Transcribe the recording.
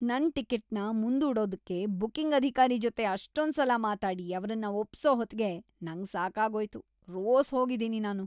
ನನ್ ಟಿಕೆಟ್‌ನ ಮುಂದೂಡೋದಕ್ಕೆ ಬುಕಿಂಗ್ ಅಧಿಕಾರಿ ಜೊತೆ ಅಷ್ಟೊಂದ್ಸಲ ಮಾತಾಡಿ ಅವ್ರನ್ನ ಒಪ್ಸೋ ಹೊತ್ಗೆ ನಂಗ್ ಸಾಕಾಗೋಯ್ತು..‌ ರೋಸ್ ಹೋಗಿದೀನಿ‌ ನಾನು.